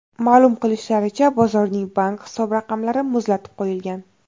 Ma’lum qilishlaricha, bozorning bank hisob-raqamlari muzlatib qo‘yilgan.